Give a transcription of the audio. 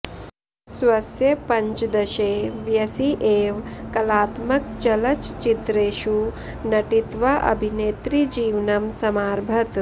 स्वस्य पञ्जदशे वयसि एव कलात्मकचलच्चित्रेषु नटित्वा अभिनेत्रीजीवनम् समारभत